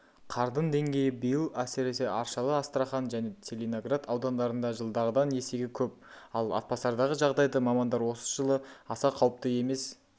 қардың деңгейі биыл әсіресе аршалы астрахан және целиноград аудандарында жылдағыдан есеге көп ал атбасардағы жағдайды мамандар осы жылы аса қауіпті емес